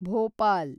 Bhopal